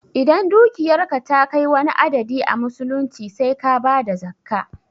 Idan dukiyarka ta kai wani adadi a musulunci sai ka bada zakkah